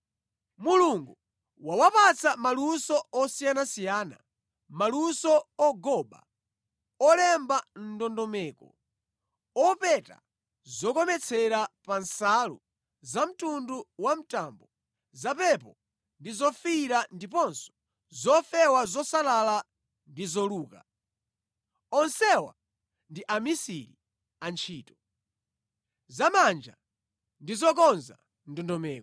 Mulungu wawapatsa maluso osiyanasiyana, maluso ogoba, olemba ndondomeko, opeta zokometsera pa nsalu zamtundu wamtambo, zapepo ndi zofiira ndiponso zofewa zosalala ndi zoluka. Onsewa ndi amisiri a ntchito zamanja ndi zokonza ndondomeko.